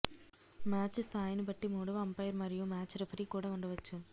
match స్థాయిని బట్టి మూడవ అంపైర్ మరియు మ్యాచ్ రిఫరీ కూడా ఉండవచ్చు